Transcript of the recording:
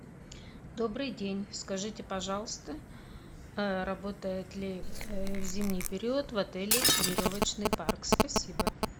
добрый день скажите пожалуйста работает ли в зимний период в отеле веревочный парк спасибо